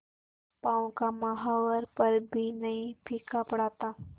पांव का महावर पर भी नहीं फीका पड़ा था